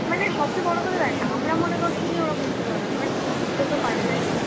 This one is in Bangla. মানে সবচেয়ে বড় কথা দেখ আমরা মনে করছি যে ওরা বুঝতে পারবে না but বুঝতে পারে না তাই না?